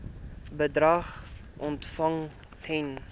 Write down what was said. bedrag ontvang ten